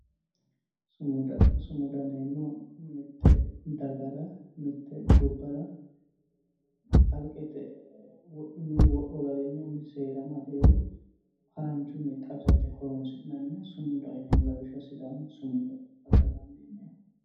Sumuda, sumuda yineemmohu mite dagara mite gobbara kalqete wodhinonni wodho garinni umisi seera amadeho haranchunni xawisate horonsi'nanniha sumudaho yineemmo, lawishshaho sidaamu sumuda adha dandiineemmo.